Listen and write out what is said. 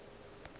le ge go le bjalo